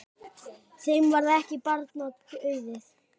Þeim varð ekki barna auðið.